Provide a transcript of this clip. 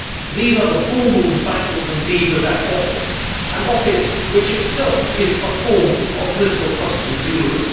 These are the baubles, bangles and beads of that office, an office which itself is a form of political costume jewellery.